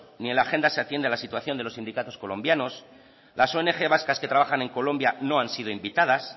ni en la agenda se atiende a la situación de los sindicatos colombianos las ong vascas que trabajan en colombia no han sido invitadas